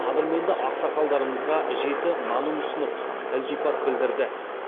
қадірменді ақсақалдарымызға жеті нанын ұсынып ілтипат білдірді